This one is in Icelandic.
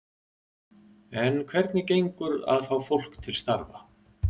En hvernig gengur að fá fólk til starfa?